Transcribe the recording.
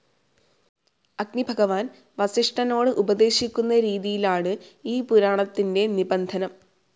അഗ്നിഭഗവാൻ വസിഷ്ഠനോടുപദേശിക്കുന്ന രീതിയിലാണ് ഈ പുരാണത്തിൻ്റെ നിബന്ധനം.